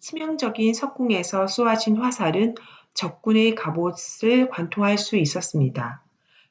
치명적인 석궁에서 쏘아진 화살은 적군의 갑옷을 관통할 수 있었습니다